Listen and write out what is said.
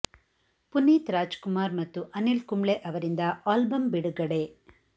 Puneeth Rajkumar ಮತ್ತು ಅನಿಲ್ ಕುಂಬ್ಳೆ ಅವರಿಂದ album ಬಿಡುಗಡೆ